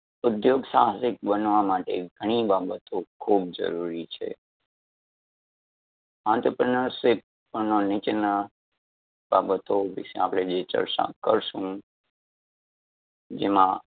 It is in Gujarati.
ઉધ્યોગ સાહસિક બનવા માટે ઘણી બાબતો ખૂબ જરૂરી છે. entrepreneurship નીચેના બાબતો વિષે આપડે જે ચર્ચા કરશું, જેમાં